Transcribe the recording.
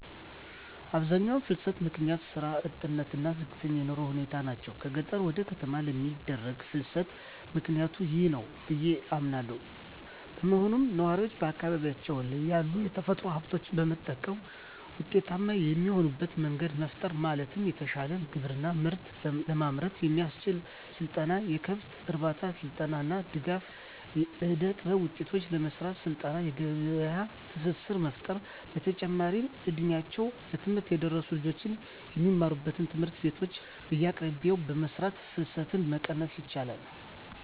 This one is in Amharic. የአብዛኛው ፍልሰት ምክንያት ስራ አጥነት እና ዝቅተኛ የኑሮ ሁኔታ ናቸው። ከገጠር ወደ ከተማ ለሚደረግ ፍልስትም ምክኒያቱ ይህ ነው ብዬ አምናለው። በመሆኑም ነዋሪው በአካባቢው ያሉ የተፈጥሮ ሀብቶችን በመጠቀም ውጤታማ የሚሆንበት መንገድ መፍጠር ማለትም የተሻለ ግብርና ምርት ለማምረት የሚያስችል ስልጠና፣ የከብት እርባታ ስልጠና እና ድጋፍ. ፣ የእደጥበብ ውጤቶችን ለመሰራት ስልጠና የገበያ ትስስር መፍጠር። በተጨማሪም እ ድሜያቸው ለትምህርት የደረሱ ልጆች የሚማሩባቸውን ትምህርት ቤቶች በየአቅራቢያቸው በመስራት ፍልሰትን መቀነስ ይቻላል።